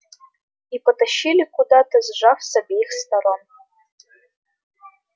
и потащили куда-то сжав с обеих сторон